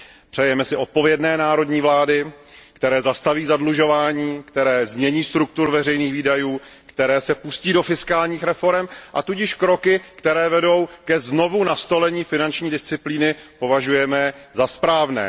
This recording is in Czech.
Přejeme si odpovědné národní vlády, které zastaví zadlužování, které změní strukturu veřejných výdajů, které se pustí do fiskálních reforem a tudíž kroky, které vedou ke znovunastolení finanční disciplíny, považujeme za správné.